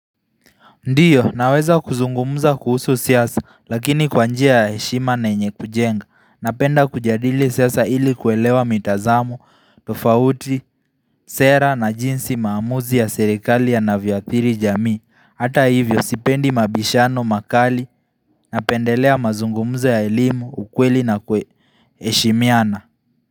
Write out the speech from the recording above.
Ndiyo naweza kuzungumza kuhusu siasa lakini kwa njia ya heshima na yenye kujenga Napenda kujadili siasa ili kuelewa mitazamo, tofauti, sera na jinsi maamuzi ya serikali yanavyathiri jamii Hata hivyo sipendi mabishano makali napendelea mazungumzo ya elimu ukweli na kuheshimiana.